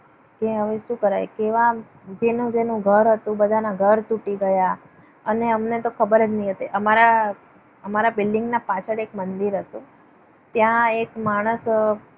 કે હવે શું કરાય? કેવા જેવું જ એનું ઘર હતું બધાના ઘર તૂટી ગયા. અને અમને તો ખબર જ નહીં હતી. આ મારા building ના પાછળ એક મંદિર હતું. ત્યાં એક માણસ